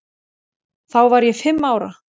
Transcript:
Þá var ég fimm ára.